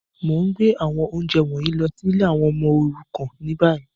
Mo n gbé àwọn ounjẹ wọ̀nyí lọ si ìlé àwon ọmọ òrukàn ni bayi.